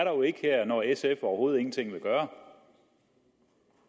jo ikke her når sf overhovedet ingenting vil gøre